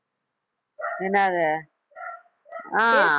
என்னாது? ஆஹ்